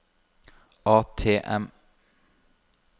ATM